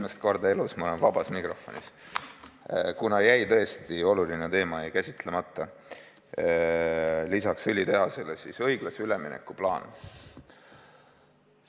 Esimest korda elus olen ma vabas mikrofonis, kuna tõesti oluline teema jäi käsitlemata – õiglase ülemineku plaan.